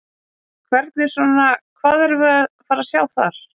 Hvernig svona, hvað erum við að fara sjá þar?